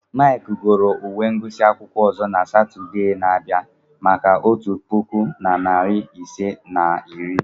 Mike goro uwe ngụsị akwụkwọ ọzọ na Satọde na-abịa maka otu puku na narị ise na iri.